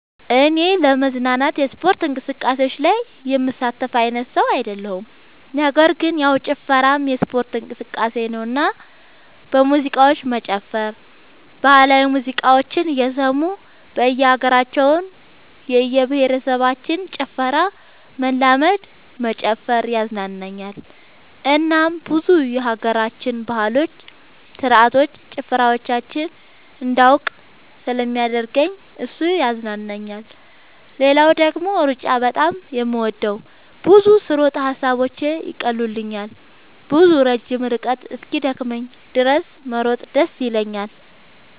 እኔ ለመዝናናት የስፖርት እንቅስቃሴዎች ላይ የምሳተፍ አይነት ሰው አይደለሁም ነገር ግን ያው ጭፈራም የስፖርት እንቅስቃሴ ነውና በሙዚቃዎች መጨፈር ባህላዊ ሙዚቃዎችን እየሰሙ የእየሀገራቸውን የእየብሄረሰቦችን ጭፈራ መለማመድ መጨፈር ያዝናናኛል እናም ብዙ የሀገራችንን ባህሎች ስርዓቶች ጭፈራዎቻቸውን እንዳውቅ ስለሚያደርገኝ እሱ ያዝናናኛል። ሌላው ደግሞ ሩጫ በጣም ነው የምወደው። ብዙ ስሮጥ ሐሳቦቼን ይቀሉልኛል። ብዙ ረጅም ርቀት እስኪደክመኝ ድረስ መሮጥ ደስ ይለኛል።